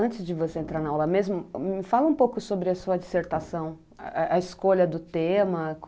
Antes de você entrar na aula mesmo, me fala um pouco sobre a sua dissertação, a escolha do tema.